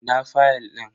Ina fayal din?